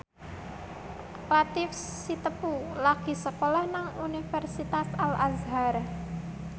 Latief Sitepu lagi sekolah nang Universitas Al Azhar